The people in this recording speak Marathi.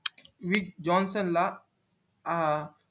जॉन सण ला अं